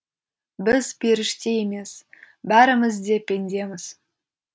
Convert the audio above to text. біз періште емес бәріміз де пендеміз